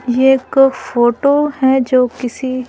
ये एक फोटो है जो किसी--